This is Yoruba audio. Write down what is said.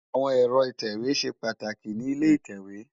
Awón èrò itèwé ṣé pàtákí ni ilé itèwé